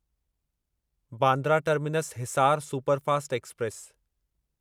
Bandra terminus Hisar superfast express